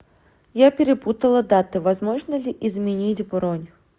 я перепутала даты возможно ли изменить бронь